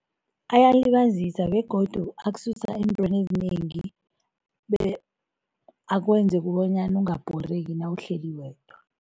Ayalibazisa begodu akususa eentweni ezinengi akwenze kobanyana ungabhoreki nawuhleli wedwa.